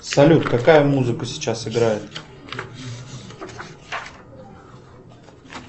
салют какая музыка сейчас играет